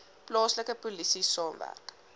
plaaslike polisie saamwerk